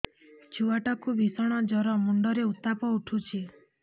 ଛୁଆ ଟା କୁ ଭିଷଣ ଜର ମୁଣ୍ଡ ରେ ଉତ୍ତାପ ଉଠୁଛି